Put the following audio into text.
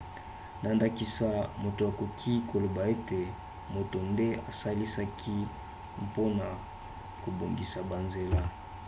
na ndakisa moto akoki koloba ete moto nde esalisaki mpona kobongisa banzela